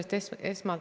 Jürgen Ligi, palun!